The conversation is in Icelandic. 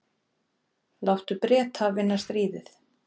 Láttu Breta vinna stríðið.